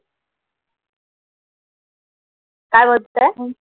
काय म्हणताय?